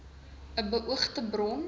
i beoogde bron